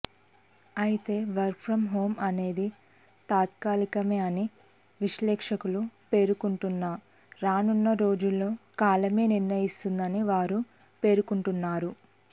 అయితే work from home అనేది తాత్కాలికమేని విశ్లేషకులు పేర్కొంటున్నా రానున్న రోజుల్లో కాలమే నిర్ణయిస్తుందని వారు పేర్కొంటున్నారు